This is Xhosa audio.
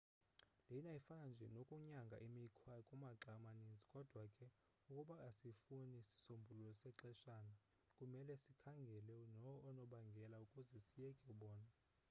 lena ifana nje nokunyanga imikhwa kumaxa amaninzi. kodwa ke ukuba asifuni sisombululo sexeshana kumele sikhangele oonobangela ukuze siyekise bona